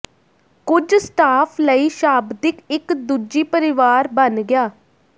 ਕੁਝ ਸਟਾਫ ਲਈ ਸ਼ਾਬਦਿਕ ਇੱਕ ਦੂਜੀ ਪਰਿਵਾਰ ਬਣ ਗਿਆ